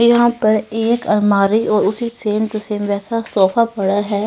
यहाँ पर एक अलमारी और उसी सेम टू सेम जैसा सोफा पड़ा है।